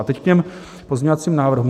A teď k těm pozměňovacím návrhům.